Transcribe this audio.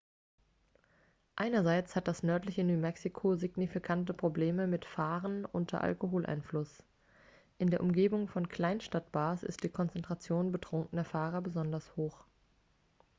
einerseits hat das nördliche new mexico signifikante probleme mit fahren unter alkoholeinfluss in der umgebung von kleinstadt-bars ist die konzentration betrunkener fahrer besonders hoch